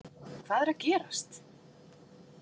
Hvað er að gerast?